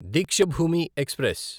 Deekshabhoomi express